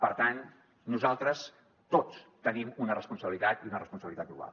per tant nosaltres tots tenim una responsabilitat i una responsabilitat global